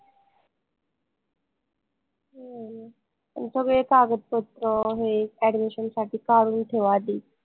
हम्म थोडे कागदपत्र हे admission साठी काढून ठेवा आधी